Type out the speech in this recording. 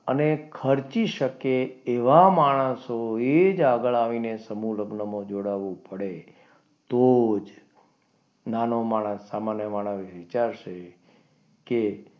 અને ખર્ચી શકે એવા માણસોએ એ જ આગળ આવીને સમૂહ લગ્ન માં જોડાવું પડે તો જ નાનો માણસ સામાન્ય માણસ વિચારશે કે,